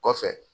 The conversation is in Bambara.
Kɔfɛ